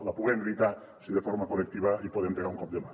la puguem evitar si de forma col·lectiva hi podem pegar un cop de mà